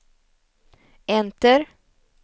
enter